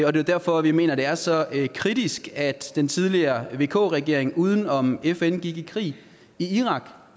og det er derfor vi mener at det er så kritisk at den tidligere vk regering uden om fn gik i krig i irak